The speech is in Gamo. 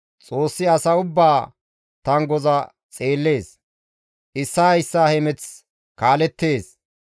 «Xoossi asa ubbaa tanggoza xeellees; issaa issaa hemeth kaalleettes.